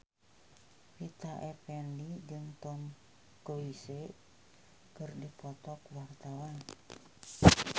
Rita Effendy jeung Tom Cruise keur dipoto ku wartawan